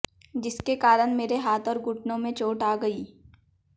जिसके कारण मेरे हाथ और घुटनों में चोट आ गई